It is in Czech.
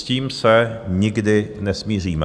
S tím se nikdy nesmíříme.